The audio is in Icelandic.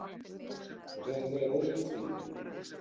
Svo þetta er ólíkt því.